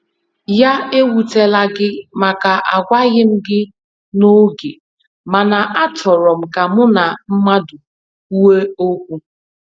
Ya ewutela gị màkà agwaghị m gị n'oge, mana a chọrọ m ka mụ na mmadụ kwụọ ókwú.